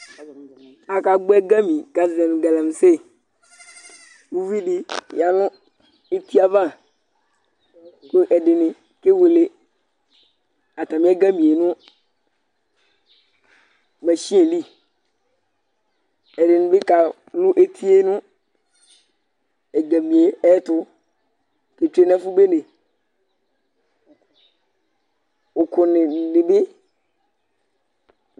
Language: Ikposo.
Akagbo ɛgami kazɔɲʊ (kalamse) Ʊvidi yaɲʊ etiava Ku ɛdiɲi kewele atami ɛgami ɲʊ masinili Ɛdiɲibi kalʊ etie ɲʊ egami ɛtʊ ketwe ɲɛfʊ beɲe